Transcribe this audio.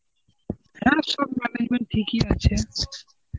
হ্যাঁ সব arrangement ঠিকই আছে.